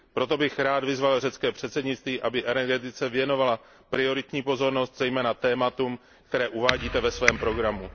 Proto bych rád vyzval řecké předsednictví, aby energetice věnovalo prioritní pozornost, zejména tématům, které uvádíte ve svém programu.